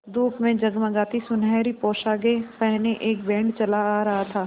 धूप में जगमगाती सुनहरी पोशाकें पहने एक बैंड चला आ रहा था